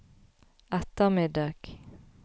ettermiddag